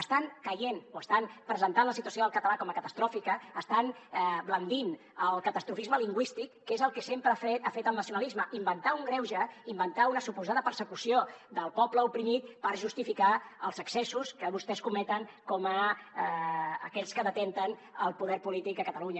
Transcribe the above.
estan presentant la situació del català com a catastròfica estant brandant el catastrofisme lingüístic que és el que sempre ha fet el nacionalisme inventar un greuge inventar una suposada persecució del poble oprimit per justificar els excessos que vostès cometen com aquells que detenen el poder polític a catalunya